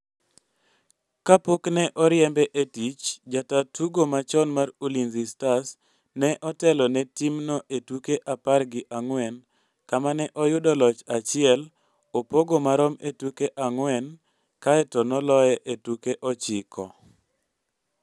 Kapok ne oriembe e tich, jataa tugo machon mar Ulinzi Stars ne otelo ne timno e tuke apar gi ang''wen kama ne oyudo loch achiel, opogo marom e tuke ang'wen, kaeto noloye e tuke ochiko.